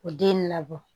O den labɔ